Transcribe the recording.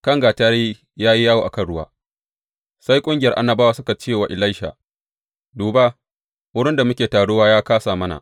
Kan gatari ya yi yawo a kan ruwa Sai ƙungiyar annabawa suka ce wa Elisha, Duba, wurin da muke taruwa ya kāsa mana.